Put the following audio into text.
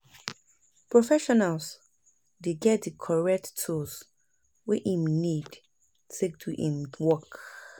professional dey get di correct tools wey im need take do im work